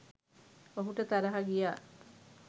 ඔහුට තරහ ගියා.